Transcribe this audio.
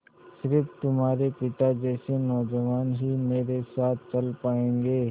स़िर्फ तुम्हारे पिता जैसे नौजवान ही मेरे साथ चल पायेंगे